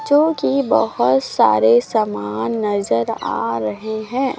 जो की बहोत सारे सामान नजर आ रहें हैं।